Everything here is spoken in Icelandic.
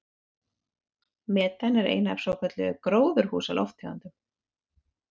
Metan er ein af svokölluðum gróðurhúsalofttegundum.